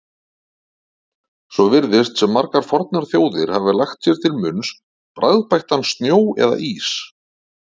Svo virðist sem margar fornar þjóðir hafi lagt sér til munns bragðbættan snjó eða ís.